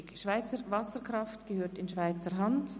«Schweizer Wasserkraft gehört in Schweizer Hand».